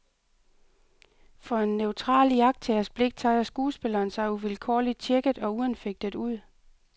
For en neutral iagttagers blik tager skuespilleren sig uvilkårlig tjekket og uanfægtet ud.